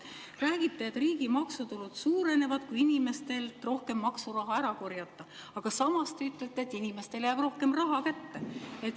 Räägite, et riigi maksutulud suurenevad, kui inimestelt rohkem maksuraha ära korjata, aga samas te ütlete, et inimestele jääb rohkem raha kätte.